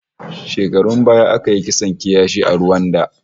Shekarun baya aka yi kisan kiyashi a Ruwanda